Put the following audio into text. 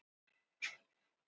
Hey þið öll